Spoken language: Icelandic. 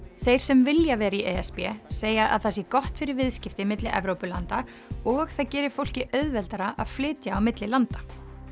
þeir sem vilja vera í e s b segja að það sé gott fyrir viðskipti milli Evrópulanda og það geri fólki auðveldara að flytja á milli landa